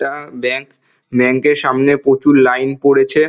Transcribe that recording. এটা bank bank এর সামনে প্রচুর লাইন পড়েছে।